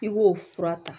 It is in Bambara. I k'o fura ta